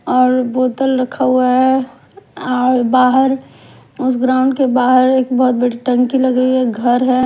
और बोतल रखा हुआ है और बाहर उस ग्राउंड के बाहर एक बहोत बड़ी टंकी लगी है घर है।